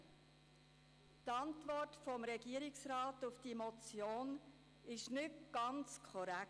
Die Antwort des Regierungsrats auf diese Motion ist nicht ganz korrekt.